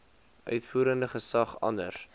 uitvoerende gesag anders